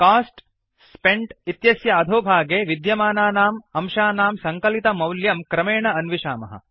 cost spent इत्यस्य अधोभागे विद्यमानानाम् अंशानां सङ्कलितमौल्यं क्रमेण अन्विषामः